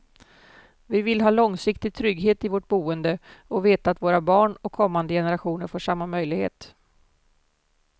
Vi vill ha långsiktig trygghet i vårt boende och veta att våra barn och kommande generationer får samma möjlighet.